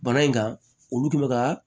Bana in kan olu kun bɛ ka